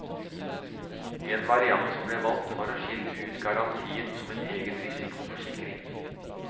En variant som ble valgt, var å skille ut garantien som en egen risikoforsikring.